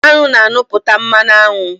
Anụ na-anupụta mmanụ aṅụ